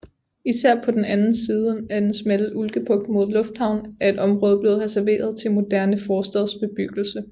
Især på den anden side af den smalle Ulkebugt mod lufthavnen er et område blevet reserveret til moderne forstadsbebyggelse